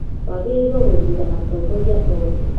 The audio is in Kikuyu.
Wagĩrĩirwo gũthuura atongoria othe